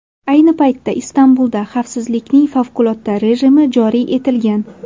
Ayni paytda Istanbulda xavfsizlikning favqulodda rejimi joriy etilgan.